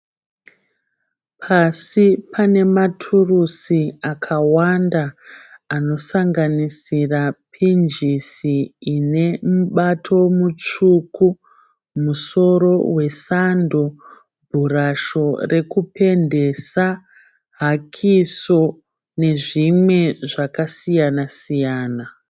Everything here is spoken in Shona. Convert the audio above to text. Padivi pane maturusi akawanda anosanganisira pinjisi ine mubato mutsvuku, musoro wesando, bhurasho rekupendesa, hakiso nezvimwe zvakasiyana siyana.